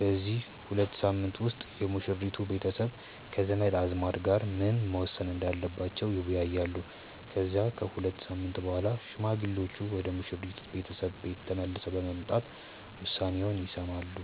በዚህ ሁለት ሳምንት ውስጥ የሙሽሪት ቤተሰብ ከዘመድ አዝማድ ጋር ምን መወሰን እንዳለባቸው ይወያያሉ። ከዛ ከሁለት ሳምንት በኋላ ሽማግሌዎቹ ወደ ሙሽሪት ቤተሰብ ቤት ተመልሰው በመምጣት ውሳኔውን ይሰማሉ።